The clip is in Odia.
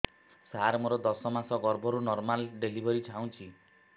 ସାର ମୋର ଦଶ ମାସ ଗର୍ଭ ମୁ ନର୍ମାଲ ଡେଲିଭରୀ ଚାହୁଁଛି